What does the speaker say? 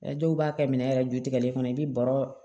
dɔw b'a kɛ minɛn yɛrɛ jutigɛlen kɔnɔ i bɛ baro